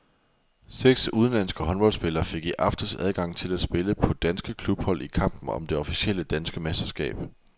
Seks udenlandske håndboldspillere fik i aftes adgang til at spille på danske klubhold i kampen om det officielle danske mesterskab.